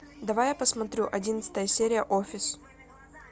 давай я посмотрю одиннадцатая серия офис